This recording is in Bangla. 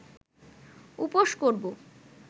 উপোস করব